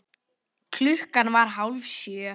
Klukkan var hálf sjö.